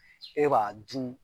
E b'a dun